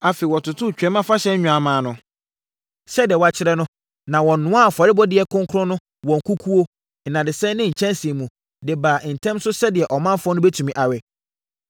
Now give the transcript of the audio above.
Afei, wɔtotoo Twam Afahyɛ nnwammaa no sɛdeɛ wɔakyerɛ no, na wɔnoaa afɔrebɔdeɛ kronkron no wɔ nkukuo, nnadesɛn ne nkyɛnsee mu, de baa ntɛm so sɛdeɛ ɔmanfoɔ no bɛtumi awe.